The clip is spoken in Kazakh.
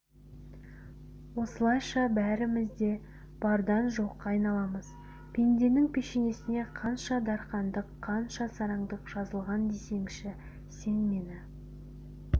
осылайша бәріміз де бардан жоққа айналамыз пенденің пешенесіне қанша дарқандық қанша сараңдық жазылған десеңші сен мені